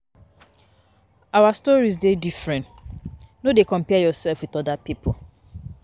Our stories dey different, no dey compare yoursef wit oda pipo.